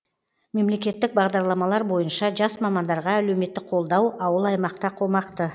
мемлекеттік бағдарламалар бойынша жас мамандарға әлеуметтік қолдау ауыл аймақта қомақты